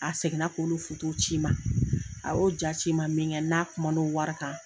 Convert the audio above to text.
A segin na k'olu ci ma a y'o jaa ci n ma min kɛ n n'a kuma na o wari kan.